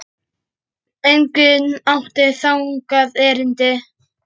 Enginn átti þangað erindi.